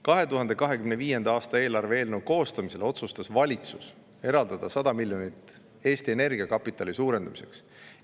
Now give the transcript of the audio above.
2025. aasta eelarve eelnõu koostamisel otsustas valitsus eraldada 100 miljonit Eesti Energia kapitali suurendamiseks.